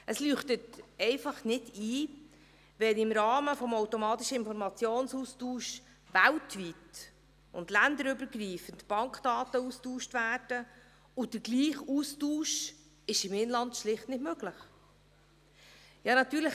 Es leuchtet einfach nicht ein, warum im Rahmen des automatischen Informationsaustauschs weltweit und länderübergreifend Bankdaten ausgetauscht werden, während derselbe Austausch im Inland schlicht nicht möglich ist.